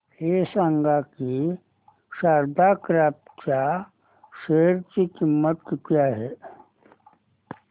हे सांगा की शारदा क्रॉप च्या शेअर ची किंमत किती आहे